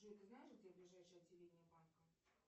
джой ты знаешь где ближайшее отделение банка